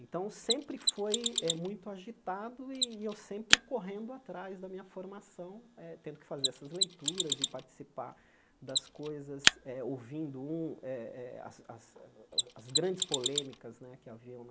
Então, sempre foi eh muito agitado e eu sempre correndo atrás da minha formação eh, tendo que fazer essas leituras e participar das coisas eh, ouvindo um eh eh as as as grandes polêmicas né que haviam